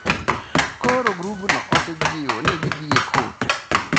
Koro grupno osejiwo ni gidhi e kot.